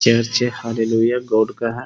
Hallelujah God का है ।